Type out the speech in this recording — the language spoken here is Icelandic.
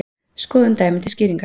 Skoðum dæmi til skýringar.